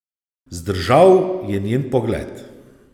Zdržal je njen pogled.